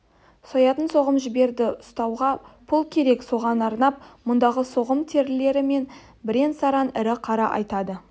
соятын соғым жіберді ұстауға пұл керек соған арнап мұндағы соғым терілері мен бірен-саран ірі қара айдатты